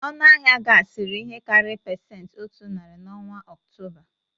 Ọnụ ahịa gas riri ihe karịrị pesenti otu narị n'ọnwa ọktoba.